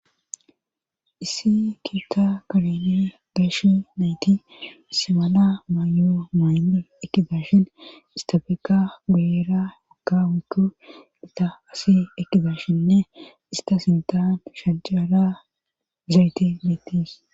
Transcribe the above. Issi kiitta kaleni dashi nayti semala maayo maaynni ekidashin istabeka guyera maka wiku ita asi ekizashinne ista sintan shajjala zayti miitis